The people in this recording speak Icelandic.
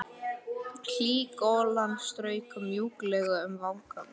Hlý golan strauk mjúklega um vangana.